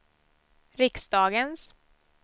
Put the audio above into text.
riksdagens